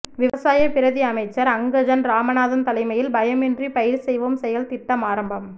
விவசாய பிரதி அமைச்சர் அங்கஜன் இராமநாதன் தலைமையில் பயம் இன்றி பயிர் செய்வோம் செயல் திட்டம் ஆரம்பம்